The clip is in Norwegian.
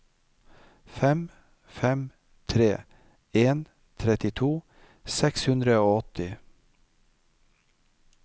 fem fem tre en trettito seks hundre og åtti